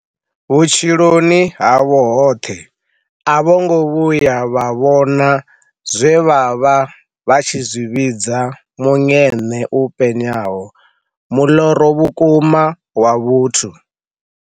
Vhutshiloni havho hoṱhe a vho ngo vhuya vha vhona zwe vha vha vha tshi zwi vhidza muṅeṋe u penyaho, muḽoro wa vhukuma wa vhuthu.